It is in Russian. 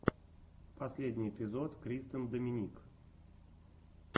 последний эпизод кристен доминик